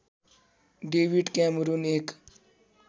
David Cameron एक